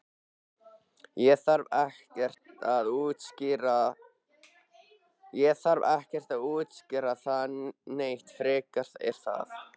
Ég þarf ekkert að útskýra það neitt frekar er það?